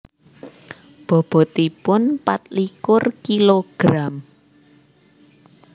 Bobotipun patlikur kilogram